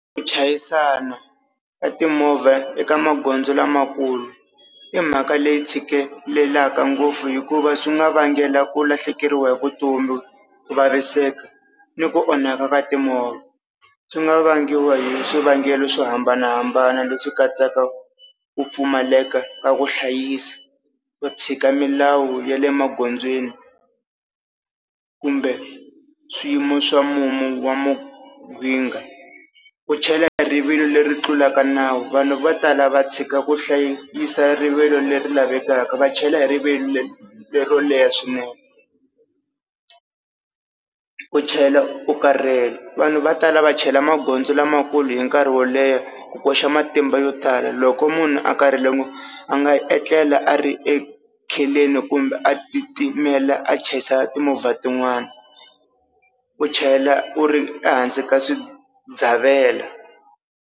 Ku chayisana ka timovha eka magondzo lamakulu i mhaka leyi tshikeleleka ngopfu hikuva swi nga vangela ku lahlekeriwa hi vutomi ku vaviseka ni ku onhaka ka timovha. Swi nga vangiwa hi swivangelo swo hambanahambana leswi katsaka ku pfumaleka ka ku hlayisa, ku tshika milawu ya le magondzweni kumbe swiyimo swa mumu wa mahinga. Ku chayela hi rivilo leri tlulaka nawu vanhu vo tala va tshika ku hlayisa rivilo leri lavekaka va chayela hi rivilo lero leha swinene. Ku chayela u karhele vanhu va tala va chayela magondzo lamakulu hi nkarhi wo leha ku koxa matimba yo tala loko munhu a karhela a nga etlela a ri ekheleni kumbe a titimela a chayisa timovha tin'wana. U chayela u ri ehansi ka swidzavelo.